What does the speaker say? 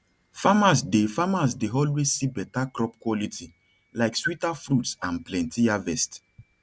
farmers dey farmers dey always see better crop quality like sweeter fruits and plenty harvest